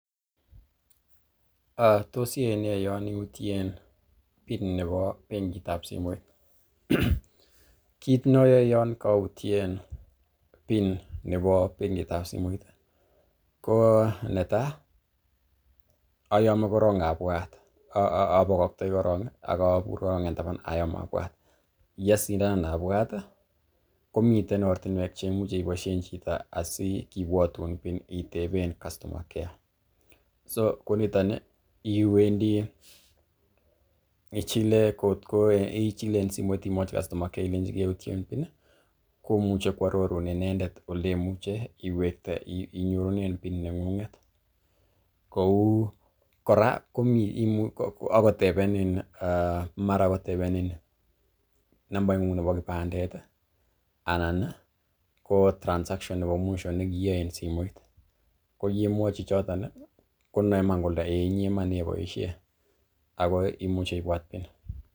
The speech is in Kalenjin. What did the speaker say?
Tos iyai nee yon iyutien PIN nebo benkit ab simoit? Kit ne ayae yon kautyen PIN nebo bengit ab simoit ko netai ayome korong abwat, abakaktoi korong ak abur korong en taban ayom abwat, ye sindanan abwat komiten ortinwek che imuche iboisien chito asikibwutun PIN iteben customer care so koniton iwendi ichile en simoit imwochi customer care ilenchi keutyen PIN komuche koarorun inendet ole imuche inyorunen PIN neng'unget, kou kora agotebenin mara kotebenin nambaing'ung nebo kipandet anan ko transaction nebo mwisho ne kiiyoe en simoit ko ye mwochi choton, konoi iman kole eiyy inye iman neiboishen ago imuche kobwatun PIN.